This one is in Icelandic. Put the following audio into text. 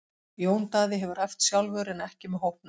Jón Daði hefur æft sjálfur en ekki með hópnum.